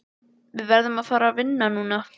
Við verðum að fara vinna núna.